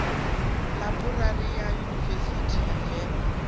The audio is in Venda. ḽaibrari ya yunivesithi ya venḓa